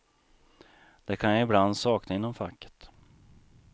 Det kan jag ibland sakna inom facket.